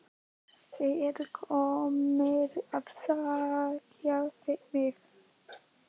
Þeir eru komnir að sækja mig.